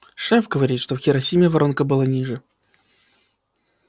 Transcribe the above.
шеф говорит что в хиросиме воронка была ниже